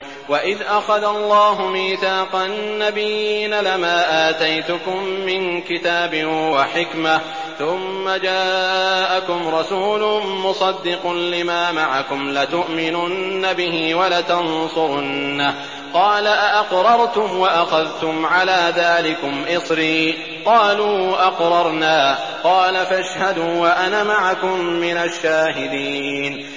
وَإِذْ أَخَذَ اللَّهُ مِيثَاقَ النَّبِيِّينَ لَمَا آتَيْتُكُم مِّن كِتَابٍ وَحِكْمَةٍ ثُمَّ جَاءَكُمْ رَسُولٌ مُّصَدِّقٌ لِّمَا مَعَكُمْ لَتُؤْمِنُنَّ بِهِ وَلَتَنصُرُنَّهُ ۚ قَالَ أَأَقْرَرْتُمْ وَأَخَذْتُمْ عَلَىٰ ذَٰلِكُمْ إِصْرِي ۖ قَالُوا أَقْرَرْنَا ۚ قَالَ فَاشْهَدُوا وَأَنَا مَعَكُم مِّنَ الشَّاهِدِينَ